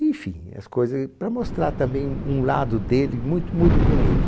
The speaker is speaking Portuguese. Enfim, as coisa, para mostrar também um lado dele muito, muito bonito.